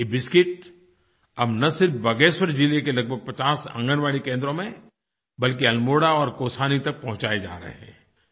ये बिस्किट अब न सिर्फ बागेश्वर ज़िले के लगभग पचास आंगनवाड़ी केन्द्रों में बल्कि अल्मोड़ा और कौसानी तक पहुँचाये जा रहे हैं